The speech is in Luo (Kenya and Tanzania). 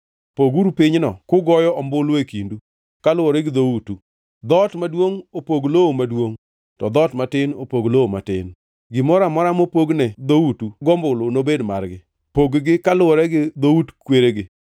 Poguru pinyno e kugoyo ombulu e kindu, kaluwore gi dhoutu. Dhoot maduongʼ opog lowo maduongʼ, to dhoot matin opog lowo matin. Gimoro amora mopogne dhoutu gombulu nobed margi. Pog-gi kaluwore gi dhout kweregi.